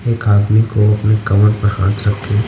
एक आदमी को अपने कमर पर हाथ रख के--